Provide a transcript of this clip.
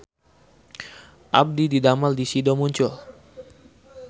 Abdi didamel di Sido Muncul